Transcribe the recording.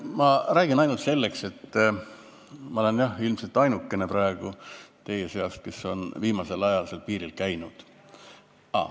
Ma räägin ainult seetõttu, et ma olen, jah, ilmselt ainukene praegu teie seas, kes on viimasel ajal seal piiril käinud.